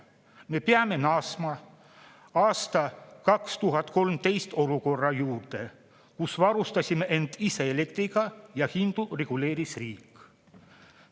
Me peame naasma 2013. aasta olukorra juurde, kus varustasime end ise elektriga ja hindu reguleeris riik.